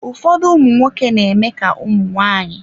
Ụfọdụ ụmụnwoke na-eme ka ụmụ nwaanyị.